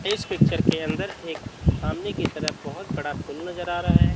इस पिक्चर के अंदर एक सामने की तरफ बहोत बड़ा नजर आ रहा है।